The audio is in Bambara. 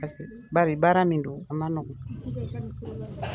Ka segin bari baara min don, a ma nɔgɔn.